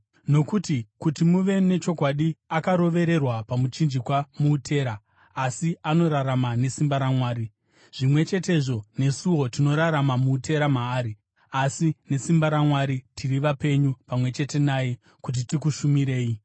Nokuti kuti muve nechokwadi, akarovererwa pamuchinjikwa muutera, asi anorarama nesimba raMwari. Zvimwe chetezvo nesuwo tinorarama muutera maari, asi nesimba raMwari tiri vapenyu pamwe chete naye kuti tikushumirei.